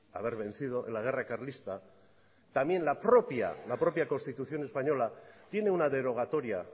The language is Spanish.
haber vencido en la guerra carlista también la propia constitución española tiene una derogatoria